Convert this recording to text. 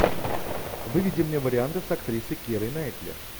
выведи мне варианты с актрисой кирой найтли